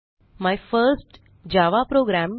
my first Java programme